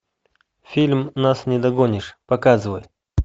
фильм нас не догонишь показывай